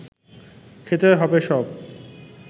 খেতে হবে সব